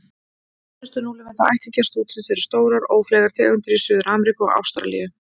Nánustu núlifandi ættingjar stútsins eru stórar, ófleygar tegundir í Suður-Ameríku og Ástralíu.